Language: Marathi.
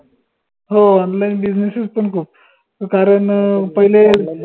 हो online businesses पन खूप कारन अं पहिले